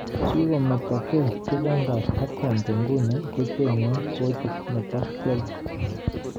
Kikometokei Juventus ak Conte nguni kochengei kochit nebo Chelsea.